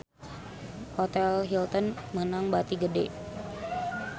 Hotel Hilton meunang bati gede